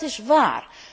En dat is waar.